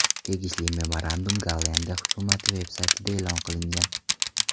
Tegishli memorandum Gollandiya hukumati veb-saytida e’lon qilingan.